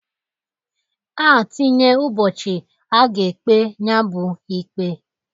A tinye ụbọchị a ga-ekpe nyabụ ikpe.